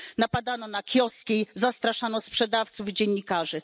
Napadano na kioski, zastraszano sprzedawców i dziennikarzy.